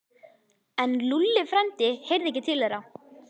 En Lúlli frændi heyrði ekki til þeirra.